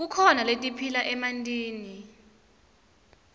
kukhona letiphila emantini